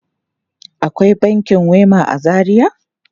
Akwai bankin Wema a Zaria?